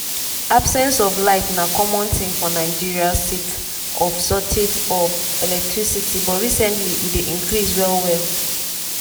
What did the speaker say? absence of light na common tin for nigeria sake of shortage of electricity but recently e dey increase well well.